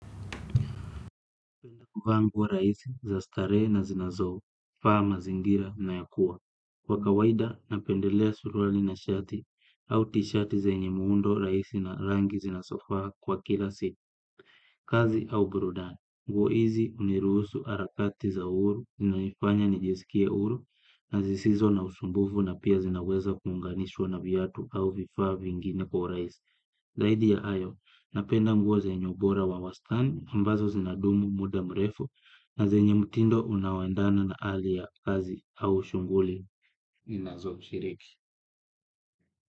Vaa nguo rahisi, za starehe na zinazofaa mazingira unayokuwa. Kwa kawaida, napendelea suruali na shati, au tishati zenye muundo rahisi na rangi zinazofaa kwa kila siku, kazi au burudani. Nguo hizi hunirusu harakati za uhuru, zinayifanya nijisikie huru, na zisizo na usumbuvu na pia zinaweza kuunganishwa na viatu au vifaa vingine kwa urahisi. Zaidi ya hayo, napenda nguo zenye ubora wa wastani, ambazo zinadumu muda mrefu na zenye mtindo unaoendana na hali ya kazi au shughuli ninazo shiriki.